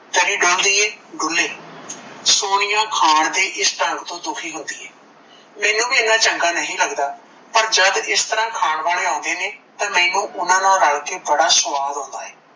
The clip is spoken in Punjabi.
ਤਰੀ ਡੁੱਲਦੀ ਏ ਡੁੱਲੇ ਸੋਨੀਆ ਖਾਣ ਦੇ ਇਸ ਡੰਗ ਤੋਂ ਦੁਖੀ ਹੁੰਦੀ ਏ ਮੈਂਨੂੰ ਵੀ ਏਨਾ ਚੰਗਾ ਨਹੀਂ ਲੱਗਦਾ, ਪਰ ਜਦ ਇਸ ਤਰਾਂ ਖਾਣ ਵਾਲੇ ਆਉਂਦੇ ਨੇ ਤਾਂ ਮੈਂਨੂੰ ਉਨਾਂ ਨਾਲ ਰੱਲ ਕੇ ਬੜਾ ਸੁਆਦ ਆਉਂਦਾ ਏ,